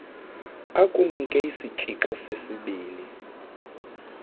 akunike isitshixo sesibini